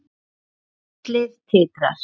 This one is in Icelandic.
Fjallið titrar.